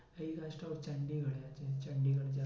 এই কাজটা ওর হয়ে গেছে চন্ডিগড়